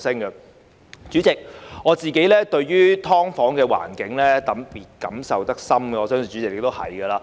代理主席，我對於"劏房"的環境感受特別深，我相信代理主席亦如是。